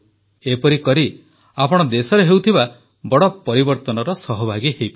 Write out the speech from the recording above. ଏପରି କରି ଆପଣ ଦେଶରେ ହେଉଥିବା ବଡ଼ ପରିବର୍ତ୍ତନର ସହଭାଗୀ ହେବେ